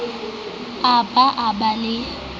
a ba a ba le